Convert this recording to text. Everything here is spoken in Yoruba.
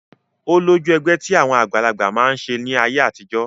Ó lójú ẹgbẹ́ tí àwọn àgbàlagbà máa ń ṣe ní ayé àtijọ́